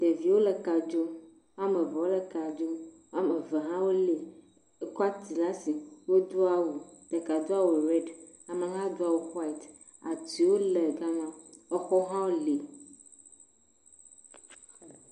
Ɖeviwo le ka dzom. Woame ve wole ka dzom. Woame ve hã wolée. Ekɔ ati laa si wodo awu. Ɖeka do awu rɛdi, amea hã do awu xɔaɛt. Atiwo le gama. Exɔwo hã wole.